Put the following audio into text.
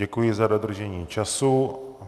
Děkuji za dodržení času.